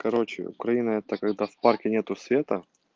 короче украина это когда в парке нету света